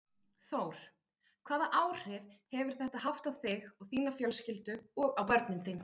Þór: Hvaða áhrif hefur þetta haft á þig, þína fjölskyldu og á börnin þín?